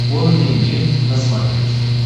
конный мир на смотрешке